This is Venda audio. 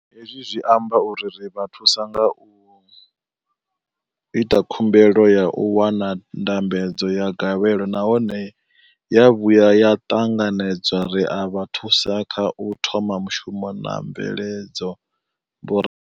Hezwi zwi amba uri ri vha thusa nga zwa u ita khumbelo ya u wana ndambedzo ya gavhelo nahone ya vhuya ya ṱanganedzwa, ri a vha thusa kha u thoma mushumo na mveledzo, vho.